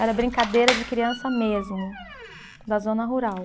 Era brincadeira de criança mesmo, da zona rural.